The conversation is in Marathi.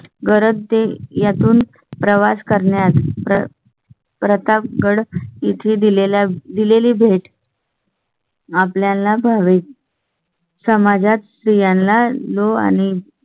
गरजते यातून प्रवास करण्यात. प्रतापगढ येथे दिलेल्या दिलेली भेट. आपल्या ला भावे. समाजात स्त्रियांना लो आणि